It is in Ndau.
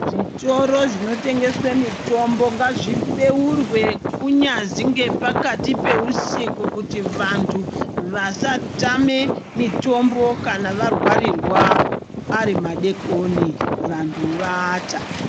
Zvitoro zvinotengeswe mitombo ngazvibeurwe kunyazwi ngepakati peusiku kuti vanhu vasatame mitombo kana vararirwa ari madekoni vanhu vaata.